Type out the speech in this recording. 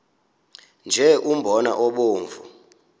nje umbona obomvu